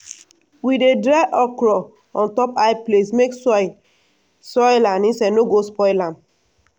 we dey dry okra on top high place make soil soil and insects no go spoil am.